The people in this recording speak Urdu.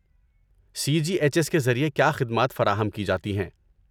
سی جی ایچ ایس کے ذریعے کیا خدمات فراہم کی جاتی ہیں؟